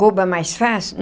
Roubo é mais fácil?